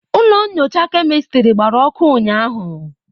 Ụlọ nyocha kemịstịrị gbara ọkụ ụnyaahụ.